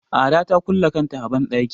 Ada ta kulle kanta a banɗaki.